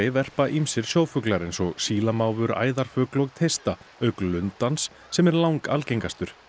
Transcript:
verpa ýmsir sjófulgar eins og æðarfugl og teista auk lundans sem er langalgengastur